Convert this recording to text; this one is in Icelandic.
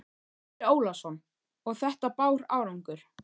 Andri Ólafsson: Og þetta bar árangur?